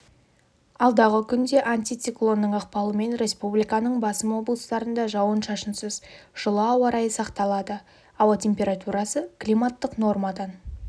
алдағы күнде антициклонның ықпалымен республиканың басым облыстарында жауын-шашынсыз жылы ауы райы сақталады ауа температурасы климаттық нормадан